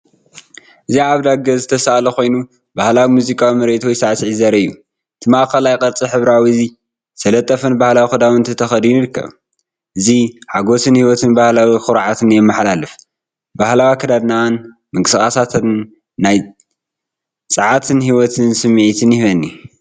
እዚ ኣብ ደገ ዝተሳእለ ኮይኑ፡ ባህላዊ ሙዚቃዊ ምርኢት ወይ ሳዕስዒት ዘርኢ እዩ። እቲ ማእከላይ ቅርጺ ሕብራዊን ዝተጠልፈን ባህላዊ ክዳውንቲ ተኸዲኑ ይርከብ። እዚ ሓጎስን ህይወትን ባህላዊ ኩርዓትን የመሓላልፍ። ባህላዊ ኣከዳድናኣን ምንቅስቓሳታን ናይ ጸዓትን ህይወትን ስምዒት ይህበኒ።